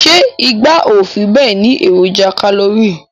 Se igba o fi be ni eroja kalori